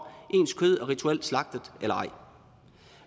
ens kød er rituelt slagtet eller ej